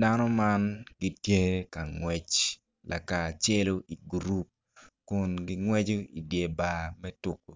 Dano man gitye ka ngwec lakacelo i gurup kun gingweco idye bar me tuko